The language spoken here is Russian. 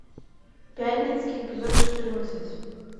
пятницкий эпизод четырнадцать